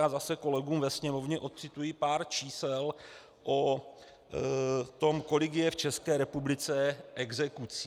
Já zase kolegům ve Sněmovně odcituji pár čísel o tom, kolik je v České republice exekucí.